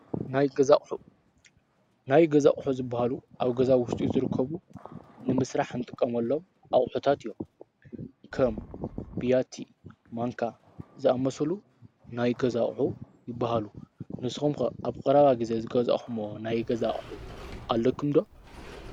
ናይ ገዛ ኣቑሑ፦ ናይ ገዛ ኣቑሑ ዝበሃሉ ኣብ ገዛ ውሽጢ ዝርከቡ ንምስራሕ ንጥቀመሎም ኣቑሑታት እዮም፡፡ ከም ቢያቲ፣ ማንካ ዝኣመሰሉ ናይ ገዛ ኣቑሑ ይበሃሉ፡፡ ንስኹም ከ ኣብ ቀረባ ግዜ ዝገዛእኽሙዎ ናይ ገዛ ኣቑሑ ኣለኩም ዶ?